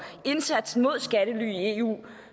indsatsen mod skattely i eu